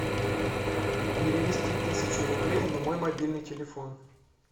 перевести тысячу рублей на мой мобильный телефон